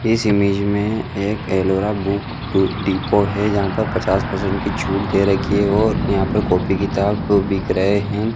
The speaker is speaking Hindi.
इस इमेज में एक एलोवेरा बुक टू डिपो है जहा पर पचास परसेंट छुट दे रखी है। और यहा पर कॉपी किताब बिक रहे है।